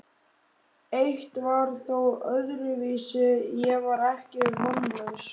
Eitt var þó öðruvísi: Ég var ekki vonlaus.